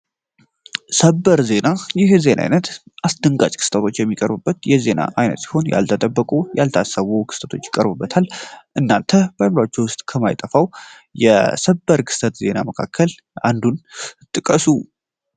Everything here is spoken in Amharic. ሰበር ይህ የዜና አይነት አስደንጋጭ የሚቀሩበት የዜና አይነት ያልተጠበቁ ያልታሰቡ ክስተቶች ይቀሩበታል እናተ ከማይጠፋው የሰበር ክስተት ዜና መካከል አንዱን ጥቀሱ።